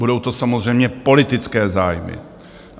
Budou to samozřejmě politické zájmy.